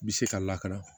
Bi se ka lakana